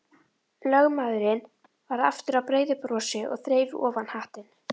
Lögmaðurinn varð aftur að breiðu brosi og þreif ofan hattinn.